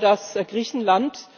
Ich glaube, dass Griechenland